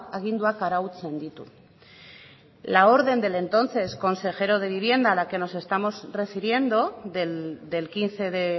aginduak arautzen ditu la orden del entonces consejero de vivienda a la que nos estamos refiriendo del quince de